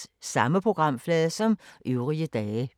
Samme programflade som øvrige dage